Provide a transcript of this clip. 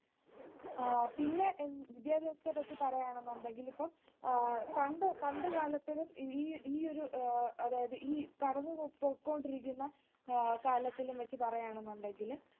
ആഹ് പിന്നെ വിദ്യാഭ്യാസത്തെപ്പറ്റി പറയണമെന്നുണ്ടെങ്കിൽ ഇപ്പൊ പണ്ടുകാലത്തിലും ഈ ഈ ഒരു അതായത് ഈ കടന്നുപൊക്കോണ്ടിരിക്കുന്ന ആഹ് കാലത്തിലും വെച്ച് പറയാനെന്നുണ്ടെങ്കിൽ